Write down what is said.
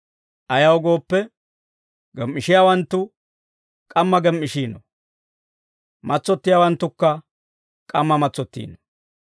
Ayaw gooppe, gem"ishiyaawanttu k'amma gem"ishiino; matsottiyaawanttukka k'amma matsottiino.